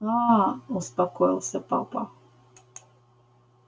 аа успокоился папа